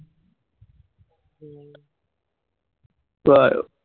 ক আৰু